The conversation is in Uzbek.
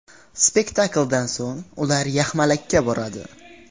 Spektakldan so‘ng ular yaxmalakka boradi.